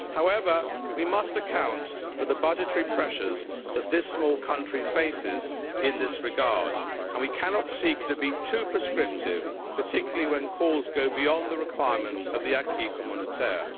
However, we must account for the budgetary pressures that this small country faces in this regard, and we cannot seek to be too prescriptive, particularly when calls go beyond the requirements of the acquis communautaire.